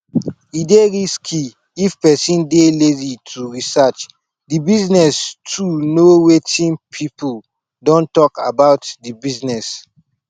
e dey risky if person dey lazy to research di business to know wetin pipo don talk about di business